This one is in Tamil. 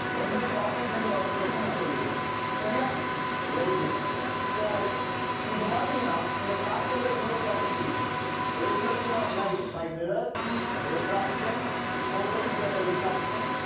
எந்த topic ல இருந்து வரும்ன்றதையும் நான் சொல்லிடுறேன் சரியா very good so இப்ப பாத்தீங்கன்னா இந்த chapter ல இவ்வளவு topics இருக்கு reflection of light by mirror refraction quarter internal reflection